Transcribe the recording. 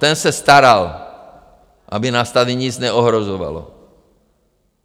Ten se staral, aby nás tady nic neohrožovalo.